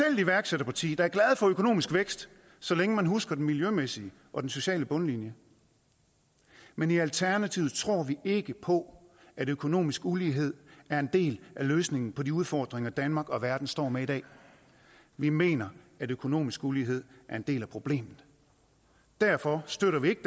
iværksætterparti der er glad for økonomisk vækst så længe man husker den miljømæssige og den sociale bundlinje men i alternativet tror vi ikke på at økonomisk ulighed er en del af løsningen på de udfordringer som danmark og verden står med i dag vi mener at økonomisk ulighed er en del af problemet derfor støtter vi ikke